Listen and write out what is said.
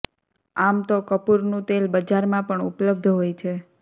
આમ તો કપૂરનું તેલ બજારમાં પણ ઉપલબ્ધ હોય છે